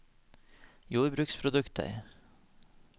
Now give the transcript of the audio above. jordbruksprodukter